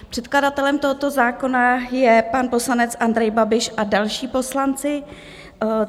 Předkladatelem tohoto zákona je pan poslanec Andrej Babiš a další poslanci.